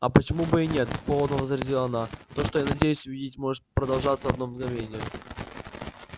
а почему бы и нет холодно возразила она то что я надеюсь увидеть может продолжаться одно мгновение